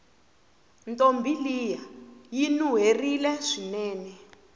ntombi liya yinuwerile swinene